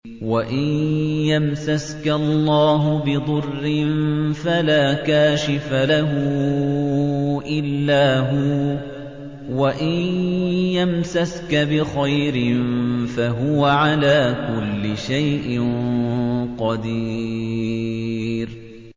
وَإِن يَمْسَسْكَ اللَّهُ بِضُرٍّ فَلَا كَاشِفَ لَهُ إِلَّا هُوَ ۖ وَإِن يَمْسَسْكَ بِخَيْرٍ فَهُوَ عَلَىٰ كُلِّ شَيْءٍ قَدِيرٌ